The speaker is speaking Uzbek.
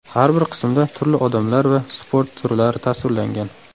Har bir qismda turli odamlar va sport turlari tasvirlangan.